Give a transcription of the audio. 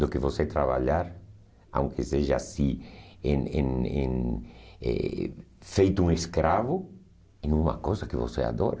do que você trabalhar, seja assim, em em em eh feito um escravo, em uma coisa que você adora.